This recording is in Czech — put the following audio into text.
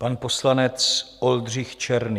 Pan poslanec Oldřich Černý.